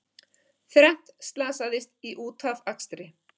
Þrennt slasaðist í útafakstri